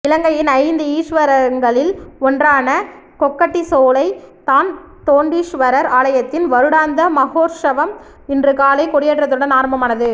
இலங்கையின் ஐந்து ஈஸ்வரங்களில் ஒன்றான கொக்கட்டிச்சோலை தான்தோன்றீஸ்வரர் ஆலயத்தின் வருடாந்த மஹோற்சவம் இன்று காலை கொடியேற்றத்துடன் ஆரம்பமானது